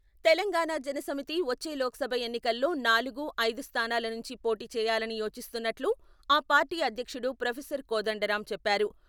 తెలంగాణ జన సమితి వచ్చే లోక్సభ ఎన్నికల్లో నాలుగు, ఐదు స్థానాల నుంచి పోటీ చేయాలని యోచిస్తున్నట్లు, ఆ పార్టీ అధ్యక్షుడు ప్రొఫెసర్ కోదండరాం చెప్పారు.